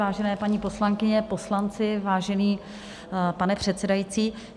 Vážené paní poslankyně, poslanci, vážený pane předsedající.